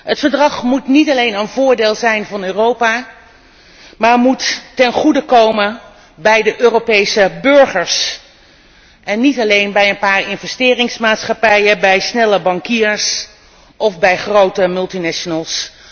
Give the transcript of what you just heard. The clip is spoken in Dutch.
Het verdrag moet niet alleen in het voordeel zijn van Europa, maar moet ook ten goede komen van de Europese burgers en niet alleen van een paar investeringsmaatschappijen, van snelle bankiers of van grote multinationals.